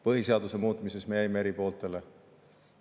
Põhiseaduse muutmises me jäime eri pooltele.